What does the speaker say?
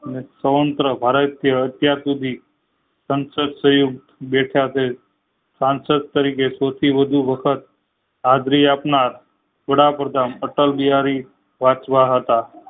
સ્વતંત્ર ભારતીય અત્યારે સુધી સંસદ સહયોગ બેઠા છે પાંચ છ તારીખે સૌથી વધુ વખત હાજરી આપનાર વડાપ્રધાન અટલબિહારી વાચવા હતા